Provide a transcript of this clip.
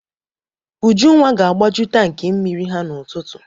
Ujunwa ga-agbaju tankị mmiri ha n'ụtụtụ.